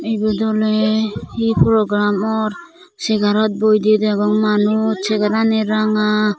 ibot oley hi program or segarot boidey degong manuj segarani ranga.